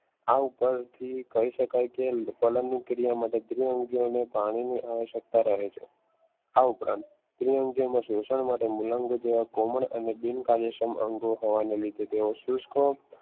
આ ઉપરથી કહી શકાય છે ક્રિયા માટે પાણીની આવશ્યકતા રહે છે આ ઉપરાંત દ્વિઅંગી શોષણ માં મૂલાંગો જેવા કોમળ અને બિન કાર્યો અંગો હોવાના લીધે તેઓ સૂચકો